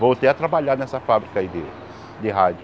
Voltei a trabalhar nessa fábrica aí de de rádio.